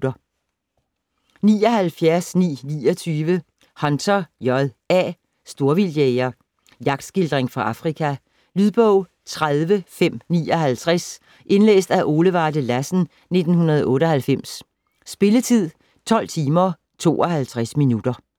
79.929 Hunter, J. A.: Storvildtjæger Jagtskildring fra Afrika. Lydbog 30559 Indlæst af Ole Varde Lassen, 1998. Spilletid: 12 timer, 52 minutter.